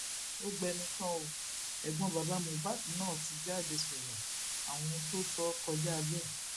ó gbẹnu tán ó ẹgbọn bàbá mohbak náà ti jáde sọrọ àwọn ohun tó sọ kọjá bẹẹ